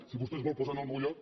si vostè es vol posar en el meu lloc